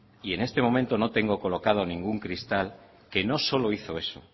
y en este momento no tengo colocado ningún cristal que no solo hizo eso